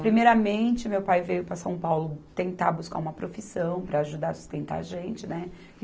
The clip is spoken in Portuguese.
Primeiramente, meu pai veio para São Paulo tentar buscar uma profissão para ajudar, sustentar a gente, né?